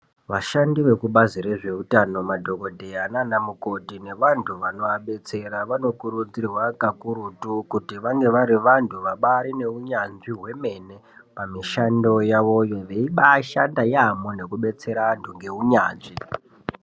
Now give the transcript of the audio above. Vashandi vekubazi rezveutano madhokodheya naanamukoti nevantu vanoabetsera, vanokurudzirwa kakurutu kuti vange vari vantu vabaari neunyanzvi hwemene pamishando yavoyo. Veibaashanda yaampho nekubetsera vantu ngeunyanzvi.